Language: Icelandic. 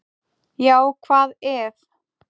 Já hvað ef!